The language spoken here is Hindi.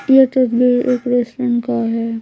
यह तस्वीर एक रेस्टोरेंट का है।